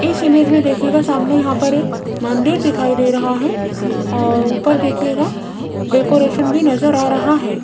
इस इमेज में देखिएगा सामने यहां पर एक मंदिर दिखाई दे रहा है और ऊपर देखिएगा डेकोरेशन भी नजर आ रहा है।